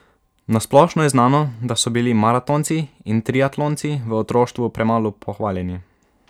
Na splošno je znano, da so bili maratonci in triatlonci v otroštvu premalo pohvaljeni.